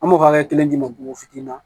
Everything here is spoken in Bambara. An b'o hakɛ kelen d'i ma bogo fitinin na